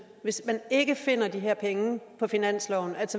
hvis man ikke finder de her penge på finansloven